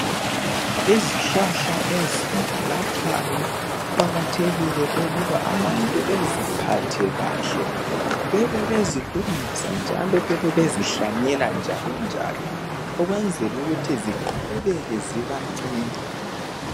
Izihlahla ezilaphayo kuqakathekile ukuba abantu beziphathe kahle, babebezilungisa njalo bebe bezihlanyela njalonjalo ukwenzela ukuthi ziqhubeke zibanceda.